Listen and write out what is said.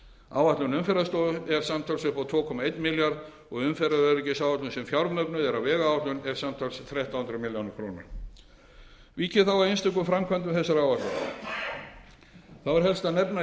áætlun umferðarstofu er samtals upp á tvo einn milljarð og sjötta umferðaröryggisáætlun sem fjármögnuð er af vegáætlun samtals eina þrjátíu milljónir króna vík ég þá að einstökum framkvæmdum þessar áætlunar þá er helst að nefna í